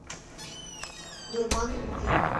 дурман любви